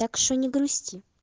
так что не грусти